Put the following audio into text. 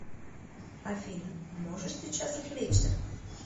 афина можешь сейчас отвлечься